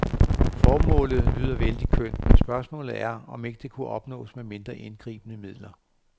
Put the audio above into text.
Formålet lyder vældig kønt, men spørgsmålet er, om det ikke kunne opnås med mindre indgribende midler.